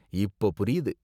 இப்போ புரியுது.